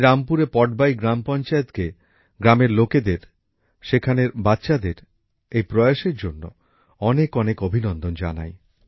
আমি রামপুরের পটবাই গ্রাম পঞ্চায়েতকে গ্রামের লোকেদের সেখানের বাচ্চাদের এই প্রয়াসের জন্য অনেক অনেক অভিনন্দন জানাই